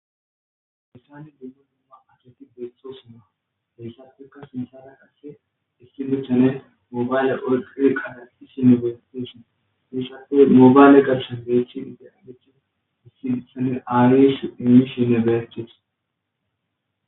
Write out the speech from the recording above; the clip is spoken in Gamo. essani duggu nuuma acheti betxosina heyssafikka sinsara qasse issi buchchane moobayle olqle kada isine goyateshin hissafe mobayle garshan geecthi ideagechin issi saleaaris iisine bertes